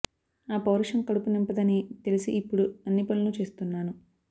ఆ పౌరుషం కడుపు నింపదని తెలిసి ఇప్పుడు అన్ని పనులూ చేస్తున్నాను